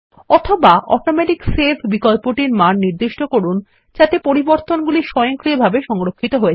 অথবা automatic save বিকল্পটির মান নিদিষ্ট করুন যাতে পরিবর্তনগুলি স্বয়ংক্রিয়ভাবে সংরক্ষিত হয়